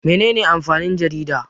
Mene ne amfanin jarida?